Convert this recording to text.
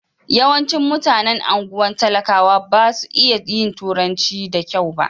Yawancin mutanen anguwan talakawa ba su iya yin turanci da kyau ba.